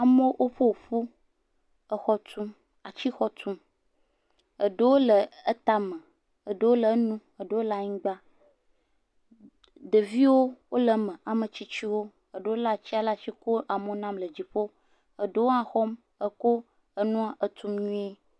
Amewo oƒoƒu, exɔ tum, atixɔ tum, eɖewo le etame, eɖewo le enu, eɖewo le anyigba, ɖeviwo wole me, ametsitsiwo, eɖewo lé atia le ekɔ amewo na le dziƒo, eɖewo hã exɔm etum nyuie.